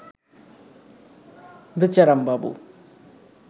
বেচারামবাবু